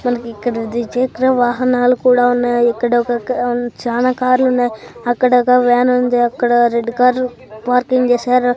మనకు ఇక్కడ ద్విచక్ర వాహనాలు కూడా ఉన్నాయి ఇక్కడ ఒక క చాలా కార్లు ఉన్నాయి అక్కడొక వ్యాన్ ఉంది అక్కడ రెడ్ కారు పార్కింగ్ చేశారు.